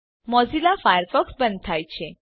Mozilla Firefox બંધ થાય છે